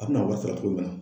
A mina a wari sara cogo min na